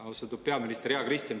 Austatud peaminister, hea Kristen!